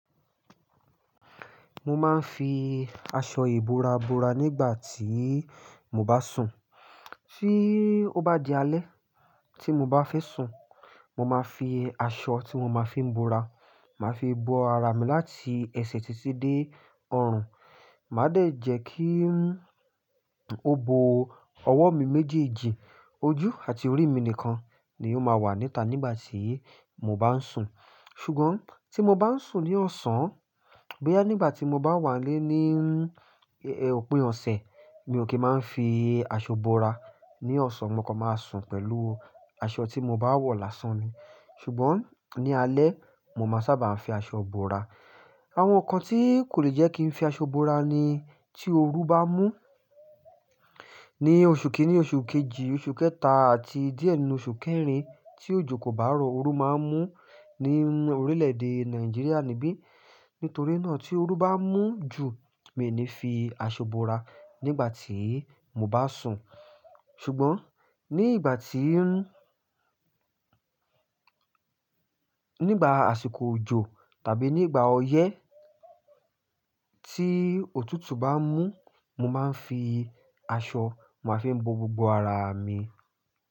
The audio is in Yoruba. Mo máa ń fi aṣọ ìbora bora nígbà tí mo bá sùn. Tí ó bá di alẹ́ tí mo bá fẹ́ sùn, mo máa fi aṣọ tí mo máa fi ń bora, màá fi bo ara mi láti ẹsẹ̀ titi dé ọrùn. Màá dẹ̀ jẹ́ kí n ó bo ọwọ́ mi méjèèjì, ojú àti orí mi nìkan ni ó máa wà níta nígbà tí mo bá ń sùn. Ṣùgbọ́n tí mo bá ń sùn ní ọ̀sán, bóyá nígbà tí mo bá wà n lé ní òpin ọ̀sẹ̀, mi ò kì í máa ń fi aṣọ bora. Ní ọ̀sán mo kan máa sùn pẹ̀lú aṣọ tí mo bá wọ̀ lásán mi. Ṣùgbọ́n ní alẹ́, mo máa sábà ń fi aṣọ bora. Àwọn nǹkan tí kò le jẹ́ kí n fi aṣọ bora ni tí oru bá mú. Ní oṣù kìíní, oṣù kejì, oṣù kẹta àti díẹ̀ nínú oṣù kẹrin tí òjò kò bá rọ̀, oru má ń mú ní orílẹ̀-èdè Nàìjíríà níbí. Nítorí náà tí oru bá mú jù, mi ò ní fi aṣọ bora nígbà tí mo bá sùn. Ṣùgbọ́n ní ìgbà tí ń, nígbà àsìkò òjò tàbí nígbà ọyẹ́ tí òtútù bá mú, mo máa ń fi aṣọ, mo máa fi ń bo gbogbo ara mi.